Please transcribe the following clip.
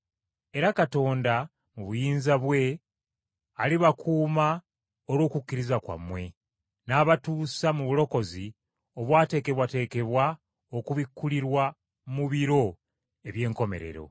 Era Katonda, mu buyinza bwe, alibakuuma olw’okukkiriza kwammwe, n’abatuusa mu bulokozi obwateekebwateekebwa okubikkulirwa mu biro eby’enkomerero.